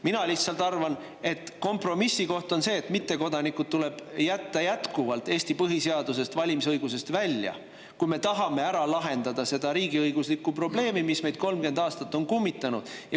Mina lihtsalt arvan, et kompromissikoht on see, et mittekodanike valimisõigus tuleb jätta jätkuvalt Eesti põhiseadusest välja, kui me tahame lahendada seda riigiõiguslikku probleemi, mis meid 30 aastat on kummitanud.